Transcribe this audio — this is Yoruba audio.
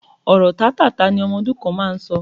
Ọ̀rọ̀ tátáààtá ni ọmọ ọdún kan máa ń sọ